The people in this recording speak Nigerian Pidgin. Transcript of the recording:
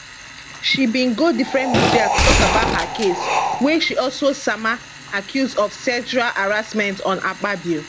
she been go different media to tok about her case wia she also sama accuse of sexual harassment on akpabio